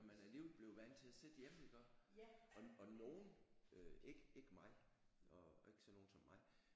Når man alligevel blev vant til at sidde hjemme iggås og nogen øh ikke ikke mig nå ikke sådan nogle som mig